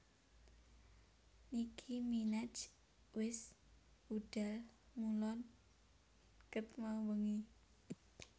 Nicki Minaj wes budhal ngulon ket mau bengi